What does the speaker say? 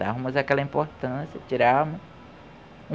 Dávamos aquela importância, tirávamos.